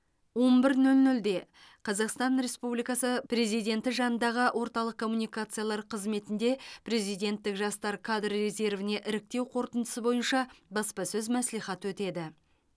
он бір нөл нөлде қазақстан республикасы президенті жанындағы орталық коммуникациялар қызметінде президенттік жастар кадр резервіне іріктеу қорытындысы бойынша баспасөз мәслихаты өтеді